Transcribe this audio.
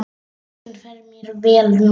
Röddin fer mér vel núna.